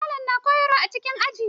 Malamai na koyarwa a cikin aji.